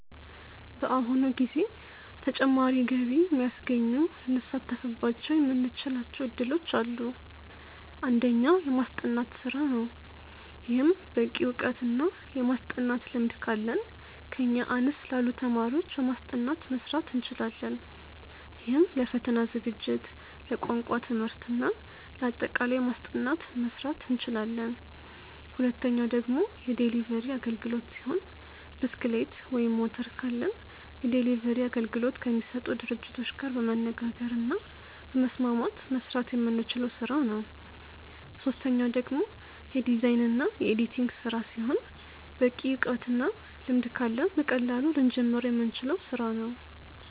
በአሁኑ ጊዜ ተጨማሪ ገቢ የሚያስገኙ ልንሳተፍባቸው የምንችላቸው እድሎች አሉ። አንደኛው። የማስጠናት ስራ ነው። ይህም በቂ እውቀት እና የማስጠናት ልምድ ካለን ከኛ አነስ ላሉ ተማሪዎች በማስጠናት መስራት እንችላለን። ይህም ለፈተና ዝግጅት፣ ለቋንቋ ትምህርት እና ለአጠቃላይ ማስጠናት መስራት እንችላለን። ሁለተኛው ደግሞ የዴሊቨሪ አግልግሎት ሲሆን ብስክሌት ወይም ሞተር ካለን የዴሊቨሪ አገልግሎት ከሚሰጡ ድርጅቶች ጋር በመነጋገር እና በመስማማት መስራት የምንችለው ስራ ነው። ሶስተኛው ደግሞ የዲዛይን እና የኤዲቲንግ ስራ ሲሆን በቂ እውቀት እና ልምድ ካለን በቀላሉ ልንጀምረው የምንችለው ስራ ነው።